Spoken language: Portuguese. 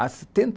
Há setenta